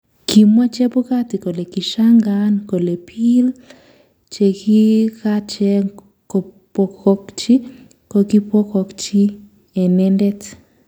Kimwaa Chebukati kole kishangaan kole piil chekikacheng kopokchi kokipwonchi inendet